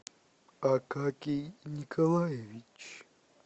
акакий николаевич